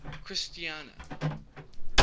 christiana